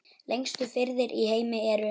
Lengstu firðir í heimi eru